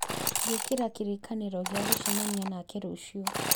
gwĩkĩra kĩririkano gĩa gũcemania nake rũciũ